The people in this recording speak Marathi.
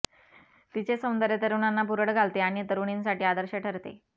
तिचे सौंदर्य तरुणांना भुरळ घालते आणि तरुणींसाठी आदर्श ठरते